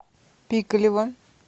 пикалево